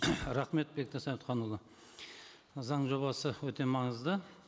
рахмет бектас советханұлы заң жобасы өте маңызды